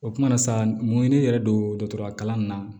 O kumana sa mun ye ne yɛrɛ don dɔgɔtɔrɔ kalan na